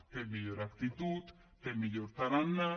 té millor actitud té millor tarannà